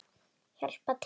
Hjálpar til.